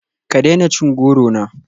Ka daina cin goro na